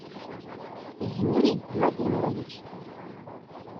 юрий владимирович